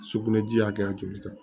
Sugunɛji hakɛya joli ta